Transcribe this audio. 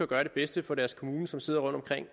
gøre det bedste for deres kommune som sidder